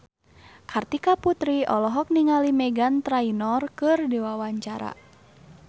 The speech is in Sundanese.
Kartika Putri olohok ningali Meghan Trainor keur diwawancara